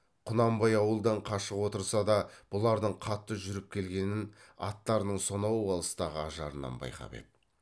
құнанбай ауылдан қашық отырса да бұлардың қатты жүріп келгенін аттарының сонау алыстағы ажарынан байқап еді